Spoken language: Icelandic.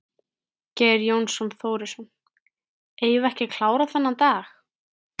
Geir Jón Þórisson: Eigum við ekki að klára þennan dag?